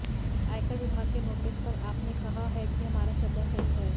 आयकर विभाग के नोटिस पर आप ने कहा है कि हमारा चंदा सही है